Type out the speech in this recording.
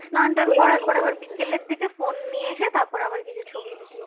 স্নান টান করার পরে আবার বিকেলের দিকে ফোন নিয়ে এসে তারপরে আবার কিছু ছবি video করা